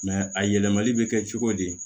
a yɛlɛmali bɛ kɛ cogo di